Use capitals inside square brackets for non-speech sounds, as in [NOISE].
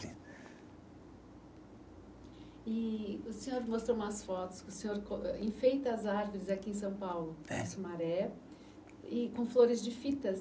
[UNINTELLIGIBLE] E o senhor mostrou umas fotos que o senhor co eh enfeita as árvores aqui em São Paulo. É. Em Sumaré, e com flores de fitas